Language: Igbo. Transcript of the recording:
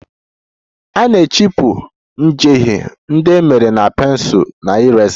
A na-ehichapụ njehie ndị e mere na pensụl na eraser